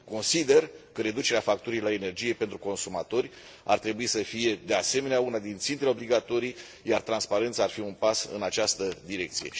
Consider că reducerea facturii la energie pentru consumatori ar trebui să fie, de asemenea, una din țintele obligatorii, iar transparența ar fi un pas în această direcție.